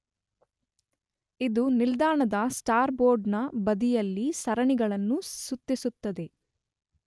ಇದು ನಿಲ್ದಾಣದ star board ನ ಬದಿಯಲ್ಲಿ ಸರಣಿಗಳನ್ನು ಸುತ್ತಿಸುತ್ತದೆ.